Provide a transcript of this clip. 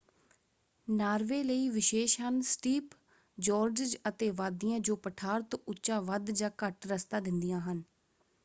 Norway ਲਈ ਵਿਸ਼ੇਸ਼ ਹਨ ਸਟੀਪ ਜੋਰਡਜ਼ ਅਤੇ ਵਾਦੀਆਂ ਜੋ ਪਠਾਰ ਤੋਂ ਉੱਚਾ ਵੱਧ ਜਾਂ ਘੱਟ ਰਸਤਾ ਦਿੰਦੀਆਂ ਹਨ।